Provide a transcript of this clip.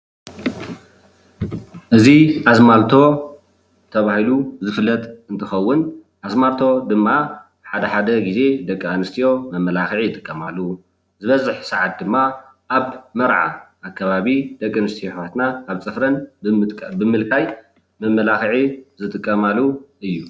እዚ ኣዝማልቶ ተባሂሉ ዝፍለጥ እንትከውን ኣዝማልቶ ድማ ሓደ ሓደ ግዜ ደቂ ኣነስትዮ መመላክዒ ይጥቀማሉ ዝበዝሕ ሰዓት ኣብ መርዓ ኣከባቢ ደቂ ኣነስትዮ ኣሕዋትና ኣብ ፅፍረን ብምልካይ መመላክዒ ዝጥቀማሉ እዩ፡፡